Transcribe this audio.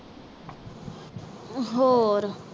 ਹੋਰ